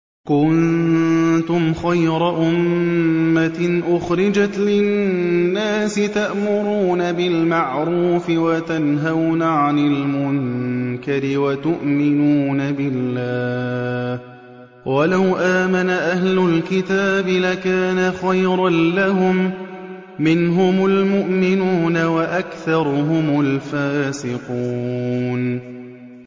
كُنتُمْ خَيْرَ أُمَّةٍ أُخْرِجَتْ لِلنَّاسِ تَأْمُرُونَ بِالْمَعْرُوفِ وَتَنْهَوْنَ عَنِ الْمُنكَرِ وَتُؤْمِنُونَ بِاللَّهِ ۗ وَلَوْ آمَنَ أَهْلُ الْكِتَابِ لَكَانَ خَيْرًا لَّهُم ۚ مِّنْهُمُ الْمُؤْمِنُونَ وَأَكْثَرُهُمُ الْفَاسِقُونَ